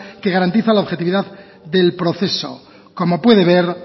que garantiza la objetividad del proceso como puede ver